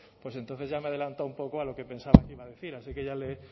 pues entonces ya me he adelantado un poco a lo que pensaba que iba a decir asi que ya le he